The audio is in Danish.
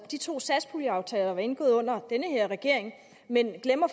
de to satspuljeaftaler der er indgået under den her regering men